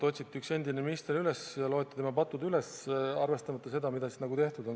Otsiti üks endine minister välja, loeti tema patud üles, arvestamata seda, mida tehtud on.